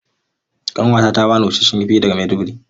Ƙanwata ta ba ni busasshen kifi daga Maiduguri.